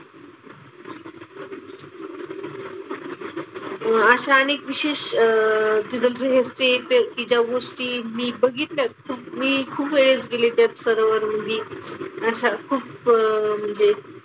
अह असे अनेक विशेष अह तिथं हे असते ते की ज्या गोष्टी मी बघितल्यात. मी खूप वेळेस गेले त्या सरोवरामंदी. अशा खूप म्हणजे,